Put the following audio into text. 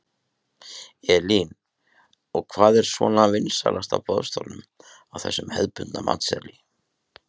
Elín: Og hvað er svona vinsælast á boðstólum á þessum hefðbundna matseðli?